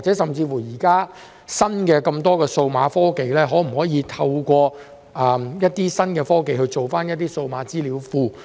現時有這麼多新的數碼科技，可否透過新科技建立數碼資料庫？